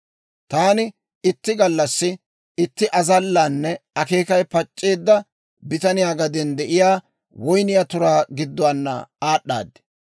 Taani itti gallassi, itti azallanne akeekay pac'c'eedda bitaniyaa gaden de'iyaa woyniyaa turaa gidduwaana aad'aad.